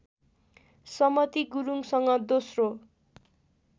समती गुरुङसँग दोस्रो